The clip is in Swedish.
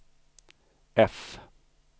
F